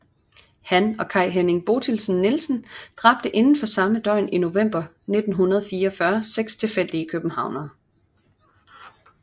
Han og Kai Henning Bothildsen Nielsen dræbte inden for samme døgn i november 1944 seks tilfældige københavnere